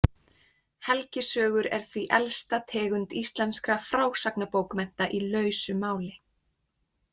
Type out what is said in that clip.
Helgisögur er því elsta tegund íslenskra frásagnarbókmennta í lausu máli.